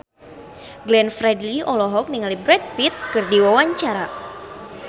Glenn Fredly olohok ningali Brad Pitt keur diwawancara